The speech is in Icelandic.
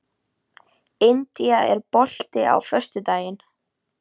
Ég sagði að það mætti alveg athuga það.